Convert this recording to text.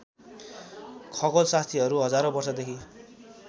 खगोलशास्त्रीहरू हजारौँ वर्षदेखि